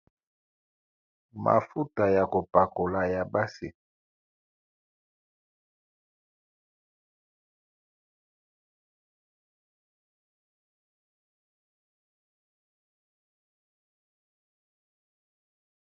Mafuta ya kopakola ya basi.